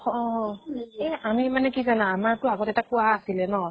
অহ্হ এহ আমি মানে কি জানা আমাৰ টো আগতে এটা কুঁৱা আছিলে ন।